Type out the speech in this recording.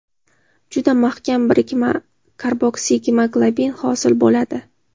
juda mahkam birikma – karboksigemoglobin hosil bo‘ladi.